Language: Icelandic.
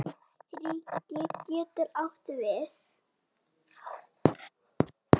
Ríki getur átt við